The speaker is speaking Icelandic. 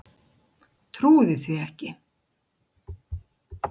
Trúði því ekki.